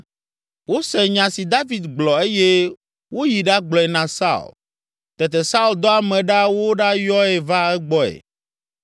Wose nya si David gblɔ eye woyi ɖagblɔe na Saul. Tete Saul dɔ ame ɖa woɖayɔe va egbɔe.